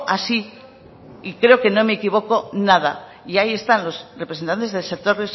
así y creo que no me equivoco nada y ahí están los representantes del sector